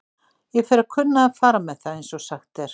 Ég fer að kunna að fara með það, einsog sagt er.